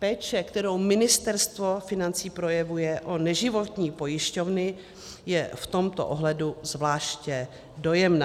Péče, kterou Ministerstvo financí projevuje o neživotní pojišťovny, je v tomto ohledu zvláště dojemná.